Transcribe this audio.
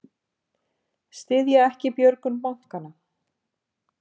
Styðja ekki björgun bankanna